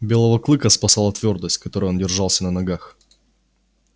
белого клыка спасала твёрдость с которой он держался на ногах